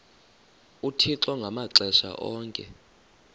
uthixo ngamaxesha onke